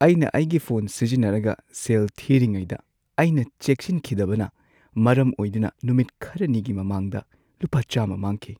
ꯑꯩꯅ ꯑꯩꯒꯤ ꯐꯣꯟ ꯁꯤꯖꯤꯟꯅꯔꯒ ꯁꯦꯜ ꯊꯤꯔꯤꯉꯩꯗ ꯑꯩꯅ ꯆꯦꯛꯁꯤꯟꯈꯤꯗꯕꯅ ꯃꯔꯝ ꯑꯣꯏꯗꯨꯅ ꯅꯨꯃꯤꯠ ꯈꯔꯅꯤꯒꯤ ꯃꯃꯥꯡꯗ ꯂꯨꯄꯥ ꯱꯰꯰ ꯃꯥꯡꯈꯤ꯫